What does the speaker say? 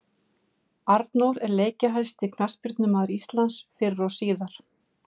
Arnór er leikjahæsti knattspyrnumaður Íslands fyrr og síðar.